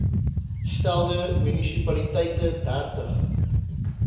stelde munisipaliteite dertig